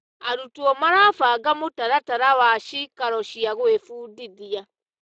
Arutwo marabanga mũtaratara wa cikaro cia gwĩbundithia.